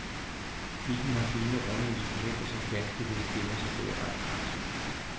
Bilen har fine runde instrumenter, som ganske vist gemmer sig bag ratkransen.